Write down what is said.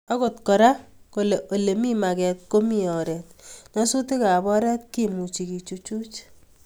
Agot Kora kole Ole mi maget komi oret, nyasutikab oret kemuchi kechuchuch